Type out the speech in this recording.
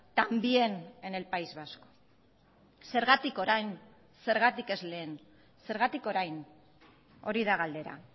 también en el país vasco zergatik orain zergatik ez lehen zergatik orain hori da galdera